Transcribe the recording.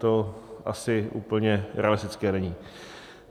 To asi úplně realistické není.